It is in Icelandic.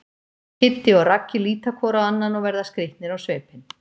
Kiddi og Raggi líta hvor á annan og verða skrýtnir á svipinn.